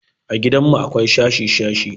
A gidanmu akwai shashi-shashi.